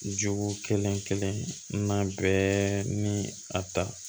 Jogo kelen kelen na bɛɛ ni a ta